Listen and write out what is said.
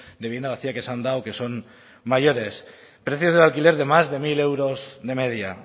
de vivienda vacía que se han dado que son mayores precios del alquiler de más de mil euros de media